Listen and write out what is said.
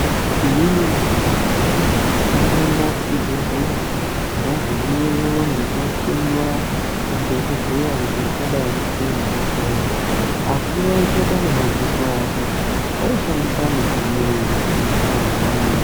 Inini wemene ndakamboenda kuchibhedhleya. Ndagumeyo ndochohloiwa nadhokodheya. Kuti ndingadai ndisina hosha ere. Asi waisaita nemadziso ake, waishandisa midziyo yemuzvibhendleya mwona umwomwo.